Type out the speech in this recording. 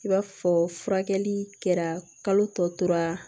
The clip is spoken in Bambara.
I b'a fɔ furakɛli kɛra kalo tɔ tora